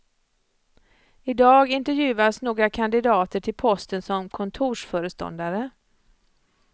Idag intervjuas några kandidater till posten som kontorsföreståndare.